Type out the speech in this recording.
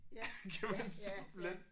Det kan man simpelthen